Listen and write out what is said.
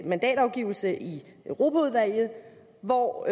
mandatafgivelse i europaudvalget hvor